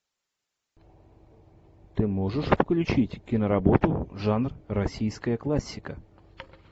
ты можешь включить киноработу жанр российская классика